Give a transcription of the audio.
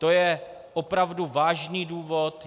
To je opravdu vážný důvod.